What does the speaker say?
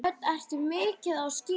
Hödd: Ertu mikið á skíðum?